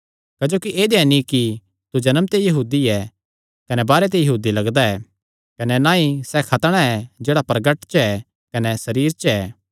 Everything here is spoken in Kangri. क्जोकि ऐदेया नीं कि तू जन्म ते यहूदी ऐ कने बाहरे ते यहूदी लगदा ऐ कने ना ई सैह़ खतणा ऐ जेह्ड़ा प्रगट च ऐ कने सरीरे च ऐ